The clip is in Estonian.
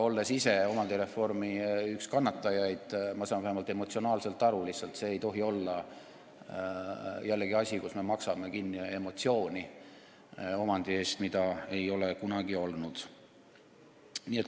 Olles ise üks omandireformi tõttu kannatanuid, saan ma sellest vähemalt emotsionaalselt aru, see lihtsalt ei tohi olla jällegi selline asi, et me maksame kinni emotsiooni omandi eest, mida ei ole kunagi olnud.